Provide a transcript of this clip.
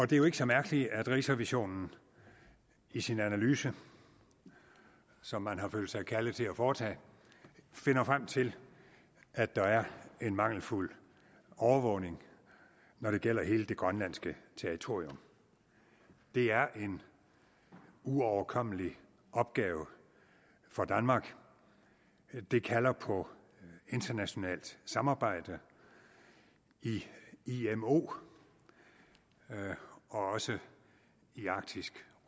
det er jo ikke så mærkeligt at rigsrevisionen i sin analyse som man har følt sig kaldet til at foretage finder frem til at der er en mangelfuld overvågning når det gælder hele det grønlandske territorium det er en uoverkommelig opgave for danmark det kalder på internationalt samarbejde i imo og også i arktisk